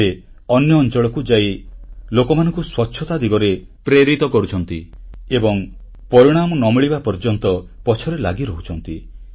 ସେ ଅନ୍ୟ ଅଂଚଳକୁ ଯାଇ ଲୋକମାନଙ୍କୁ ସ୍ୱଚ୍ଛତା ଦିଗରେ ପ୍ରେରିତ କରୁଛନ୍ତି ଏବଂ ପରିଣାମ ନ ମିଳିବା ପର୍ଯ୍ୟନ୍ତ ପଛରେ ଲାଗିରହୁଛନ୍ତି